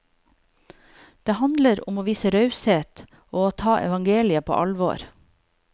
Det handler om å vise raushet og å ta evangeliet på alvor.